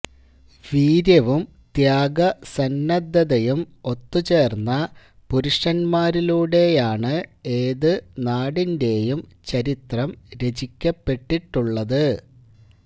വീര്യവും ത്യാഗസന്നദ്ധതയും ഒത്തുചേർന്ന പുരുഷന്മാരിലൂടെയാണ് ഏതു നാടിന്റെയും ചരിത്രം രചിക്കപ്പെട്ടിട്ടുള്ളത്